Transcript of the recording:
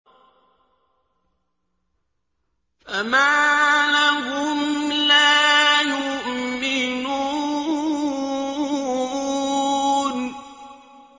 فَمَا لَهُمْ لَا يُؤْمِنُونَ